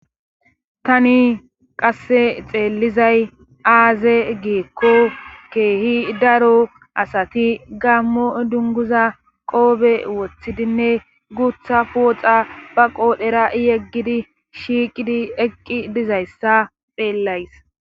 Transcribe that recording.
tani qasse xeellizay aaze gikko keehi daro asati gammo dunguza qoobe wothidinne gutha pooxa ba qoodhera yeggidi shiiqidi eqqi dizayssa xeellays